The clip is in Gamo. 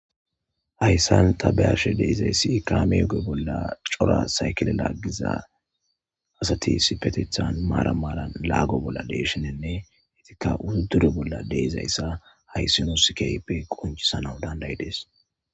Hayssan ta beashe deizayssi kaamige bolla cora saykele laaggiza asati sipetethan maara maaran laago bolla deeshinenne hetikka undure bolla deizayssa hayssi nusikeype qoncisana dandayi dees.